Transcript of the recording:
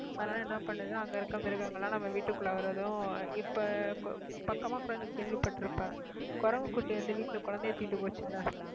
அதனால என்ன பண்ணுது அங்க இருக்கிற மிருகங்கள் எல்லாம் நம்ம வீட்டுக்குள்ள வர்றதும் இப்ப பக்கமா கூட நீ கேள்விப்பட்டிருப்ப குரங்கு குட்டி வந்து வீட்டுல குழந்தையை தூக்கிட்டு போச்சுல்ல